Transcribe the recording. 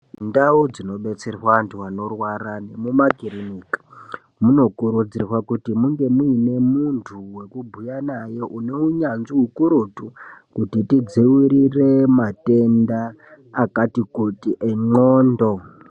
Ndau dzinobetserwa antu anorwara nemumakiriniki munokurudzirwa kunge muine muntu wekubhuya naye une unyanzvi ukurutu kuti tidziwirire matenda akati kuti enwondo.